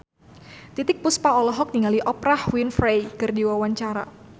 Titiek Puspa olohok ningali Oprah Winfrey keur diwawancara